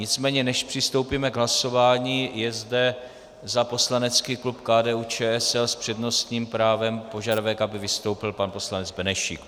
Nicméně než přistoupíme k hlasování, je zde za poslanecký klub KDU-ČSL s přednostním právem požadavek, aby vystoupil pan poslanec Benešík.